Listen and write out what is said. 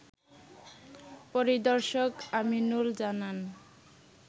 পরিদর্শক আমিনুল জানান